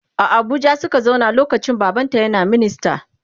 A Abuja Suka zauna lokacin baban ta ƴan a minista